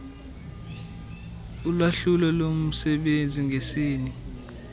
ulwahlulo lomsebenzi ngesini